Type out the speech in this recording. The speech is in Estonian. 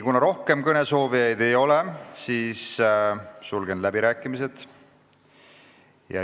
Kuna rohkem kõnesoovijaid ei ole, siis sulgen läbirääkimised.